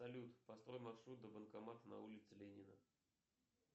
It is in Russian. салют построй маршрут до банкомата на улице ленина